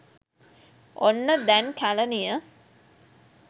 ඔන්න දැන් කැලණිය